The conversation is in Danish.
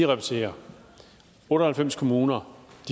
repetere otte og halvfems kommuner